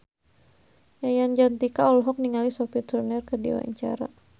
Yayan Jatnika olohok ningali Sophie Turner keur diwawancara